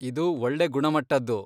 ಇದು ಒಳ್ಳೆ ಗುಣಮಟ್ಟದ್ದು.